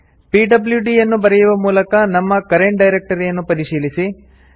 PWD ಯನ್ನು ಬರೆಯುವ ಮೂಲಕ ನಮ್ಮ ಕರೆಂಟ್ ಡೈರೆಕ್ಟರಿಯನ್ನು ಪರಿಶೀಲಿಸಿ